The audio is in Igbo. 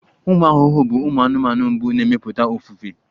Ụmụ ahụhụ bụ ụmụ anụmanụ mbụ na-emepụta ofufe